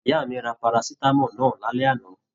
Ìyá mí rà parasitamọ náà l'alẹ ana.